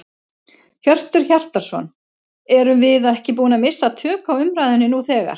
Hjörtur Hjartarson: Erum við ekki búin að missa tök á umræðunni nú þegar?